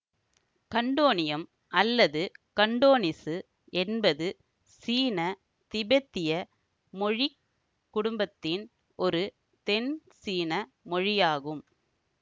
கண்டோனீயம் அல்லது கண்டோனிசு என்பது சீனதிபெத்திய மொழி குடும்பத்தின் ஒரு தென்சீன மொழியாகும்